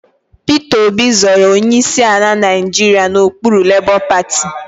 Peter Obi zọrọ onyeisi ala Nigeria n'okpuru labour party